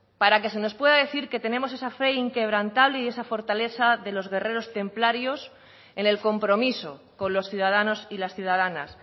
para que se nos pueda decir que tenemos esa fe inquebrantable y esa fortaleza de los guerreros templarios en el compromiso con los ciudadanos y las ciudadanas